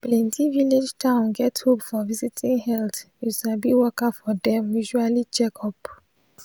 plenti village town get hope for visiting health you sabi worker for dem usual checkup.